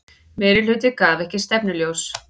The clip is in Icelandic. Meirihluti gaf ekki stefnuljós